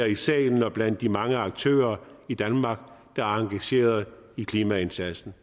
i salen og blandt de mange aktører i danmark der er engageret i klimaindsatsen